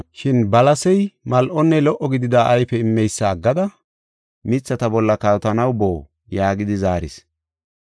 Shin balasey, ‘Mal7onne lo77o gidida ayfe immeysa aggada mithata bolla kawotanaw boo?’ yaagidi zaaris.